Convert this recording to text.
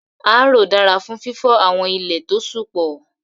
Áróó dara fun fifọ awọn ile to ṣú pọ